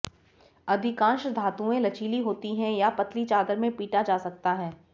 अधिकांश धातुएं लचीली होती हैं या पतली चादर में पीटा जा सकता है